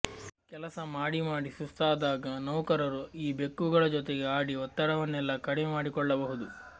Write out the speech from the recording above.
ಕೆಲಸ ಮಾಡಿ ಮಾಡಿ ಸುಸ್ತಾದಾಗ ನೌಕರರು ಈ ಬೆಕ್ಕುಗಳ ಜೊತೆಗೆ ಆಡಿ ಒತ್ತಡವನ್ನೆಲ್ಲ ಕಡಿಮೆ ಮಾಡಿಕೊಳ್ಳಬಹುದು